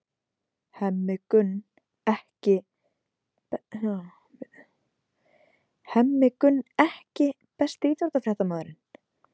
Hemmi Gunn EKKI besti íþróttafréttamaðurinn?